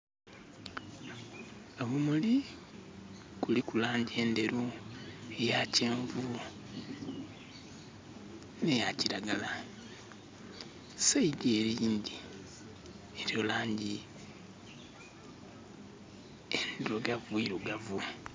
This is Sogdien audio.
Obumuli kuliku laangi endheru, eya kyenvu, n'eya kiragala. Side ele eyindhi eliyo laangi endhirugavu irugavu.